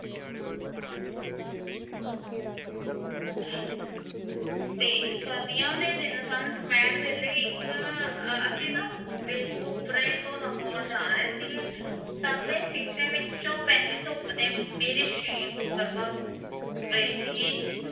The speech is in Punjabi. ਤੇ ਸਰਦੀਆਂ ਦੇ ਦਿਨ ਸਨ, ਦੁਪਿਹਰ ਵੇਲੇ ਇੱਕ ਅਹ ਅਸੀਂ ਨਾ ਵੇਖੁਪੁਰੇ ਤੋਂ ਲਾਹੌਰ ਜਾ ਰਹੇ ਸੀਗੇ ਸਾਹਮਣੇ ਸ਼ੀਸ਼ੇ ਵਿੱਚੋਂ ਪੈਂਦੀ ਧੁੱਪ ਨੇ ਮੇਰੇ ਰਹੀ ਸੀਗੀ।